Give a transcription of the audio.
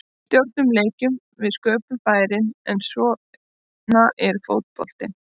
Við stjórnuðum leiknum, við sköpuðum færin, en svona er fótboltinn.